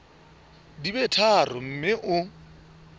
di be tharo mme o